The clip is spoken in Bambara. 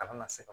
A kana na se ka